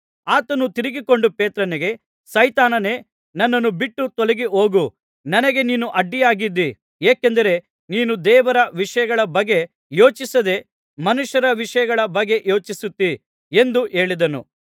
ಆತನು ತಿರುಗಿಕೊಂಡು ಪೇತ್ರನಿಗೆ ಸೈತಾನನೇ ನನ್ನನ್ನು ಬಿಟ್ಟು ತೊಲಗಿ ಹೋಗು ನನಗೆ ನೀನು ಅಡ್ಡಿಯಾಗಿದ್ದಿ ಏಕೆಂದರೆ ನೀನು ದೇವರ ವಿಷಯಗಳ ಬಗ್ಗೆ ಯೋಚಿಸದೇ ಮನುಷ್ಯರ ವಿಷಯಗಳ ಬಗ್ಗೆ ಯೋಚಿಸುತ್ತೀ ಎಂದು ಹೇಳಿದನು